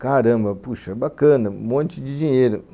Caramba, puxa, bacana, um monte de dinheiro.